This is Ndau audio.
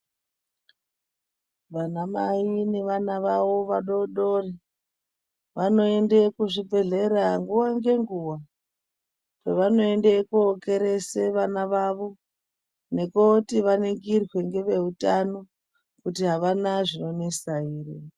Vanamai nevana vavo vadodori vanoende kuzvibhehlera nguwa nenguwa kwavanoende kokerese vana vavo nekooti vaningirwe ngeveutano kuti avana zvinonesa ere.